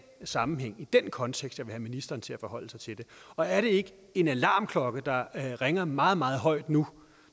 sammenhæng og i den kontekst jeg vil have ministeren til at forholde sig til det og er der ikke en alarmklokke der ringer meget meget højt nu